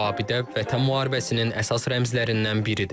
Bu abidə Vətən müharibəsinin əsas rəmzlərindən biridir.